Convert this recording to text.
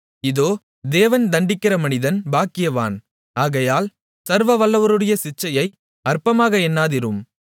இதோ தேவன் தண்டிக்கிற மனிதன் பாக்கியவான் ஆகையால் சர்வவல்லவருடைய சிட்சையை அற்பமாக எண்ணாதிரும்